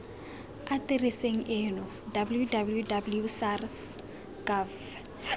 atereseng eno www sars gov